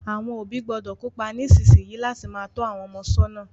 Àwon òbí gbọ́dọ̀ kópa nísinsìn yìí láti má to àwon ọmọ sọ́nà